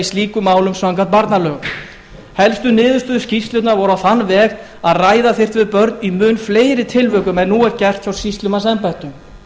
slíkum málum samkvæmt barnalögum helstu niðurstöður skýrslunnar voru á þann veg að ræða þyrfti við börn í mun fleiri tilvikum en nú er gert hjá sýslumannsembættum